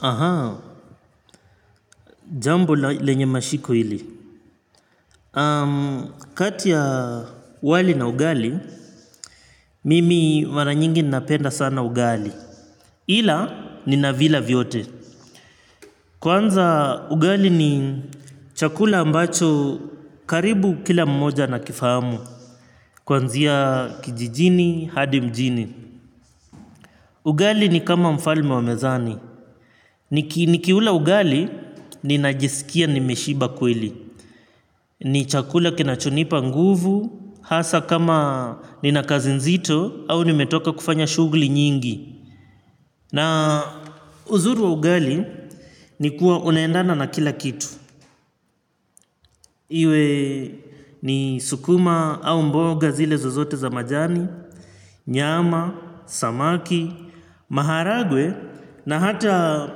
Aha, jambo lenye mashiko ili kati ya wali na ugali, mimi mara nyingi napenda sana ugali ila, ninavila vyote. Kwanza ugali ni chakula ambacho karibu kila mmoja anakifahamu. Kwanzia kijijini, hadi mjini ugali ni kama mfalme wa mezani. Nikiula ugali, ninajisikia nimeshiba kweli. Ni chakula kinachonipa nguvu, hasa kama nina kazi nzito au nimetoka kufanya shughuli nyingi. Na uzuri wa ugali ni kuwa unaendana na kila kitu. Iwe ni sukuma au mboga zile zozote za majani, nyama, samaki, maharagwe na hata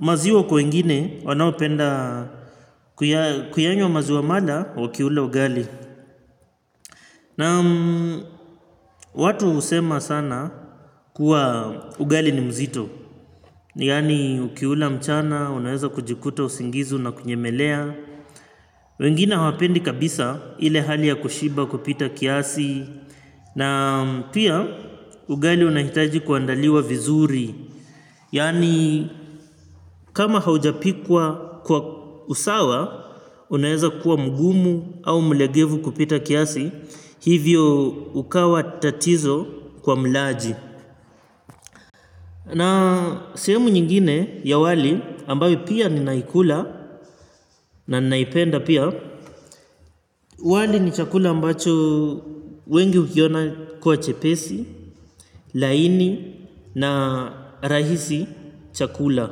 maziwa kwa wengine wanaopenda kuyanywa maziwa mala wakiula ugali. Na watu husema sana kuwa ugali ni mzito, yani ukiula mchana, unaeza kujikuta usingizi unakunyemelea, wengine hawapendi kabisa ile hali ya kushiba kupita kiasi, na pia ugali unahitaji kuandaliwa vizuri. Yaani kama haujapikwa kwa usawa, unaeza kuwa mgumu au mlegevu kupita kiasi, hivyo ukawa tatizo kwa mlaji. Na sehemu nyingine ya wali ambayo pia ninaikula na ninaipenda pia, wali ni chakula ambacho wengi ukiona kuwa chepesi, laini na rahisi cha kula.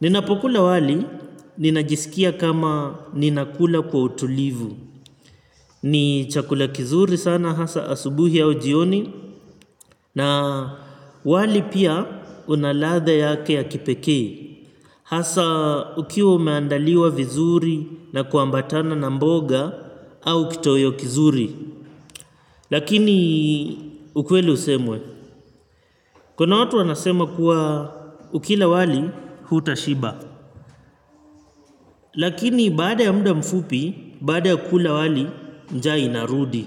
Ninapokula wali ninajisikia kama ninakula kwa utulivu. Ni chakula kizuri sana hasa asubuhi au ujioni na wali pia una ladha yake ya kipekee. Hasa ukiwa umeandaliwa vizuri na kuambatana na mboga au kitoweo kizuri. Lakini ukweli usemwe. Kuna watu wanasema kuwa ukila wali hutashiba. Lakini baada ya muda mfupi, baada ya kula wali, njaa inarudi.